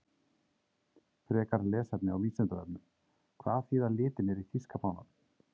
Frekara lesefni á Vísindavefnum: Hvað þýða litirnir í þýska fánanum?